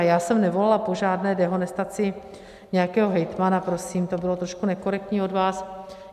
A já jsem nevolala po žádné dehonestaci nějakého hejtmana, prosím, to bylo trošku nekorektní od vás.